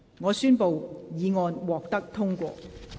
我宣布議案獲得通過。